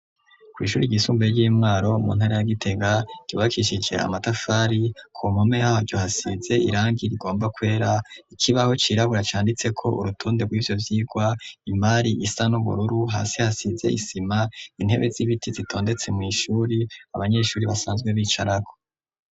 Kw'ishuri ryisumbuye ry'imwaro mu ntara ya gitega ryubakishije amatafari, kumpome yaryo hasize irangiye rigomba kwera, ikibaho cirabura canditse ko urutonde rw'ivyo vyirwa, imari isa n'ubururu hasi hasize isima intebe z'ibiti zitondetse mw'ishuri abanyeshuri basanzwe bicarako.